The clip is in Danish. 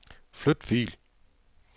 Flyt fil.